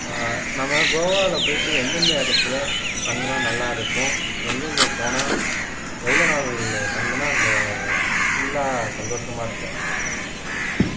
ஆஹ் நம்ம கோவால போயிட்டு எந்தெந்த இடத்துல தங்கினா நல்லா இருக்கும் எங்கெங்க போனா எவ்வளவு நாள் தங்கினா அங்க full ஆ சந்தோஷமா இருக்கலாம்